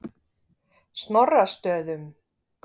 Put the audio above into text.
Snorrastöðum